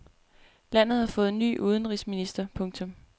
Landet har fået ny udenrigsminister. punktum